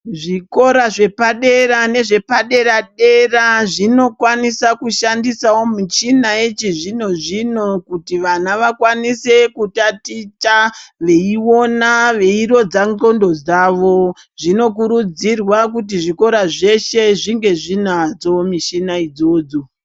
Zvikora zvepadera nezvepadera dera zvinoowanisawo kushandisa michina yechizvino zvino kuti vana vakwanise kutaticha veiona veirodza ngonxo dzawo zvinokurudzirwa kuti zvikora zveshe zvinge dzinazvo michina idzodzo.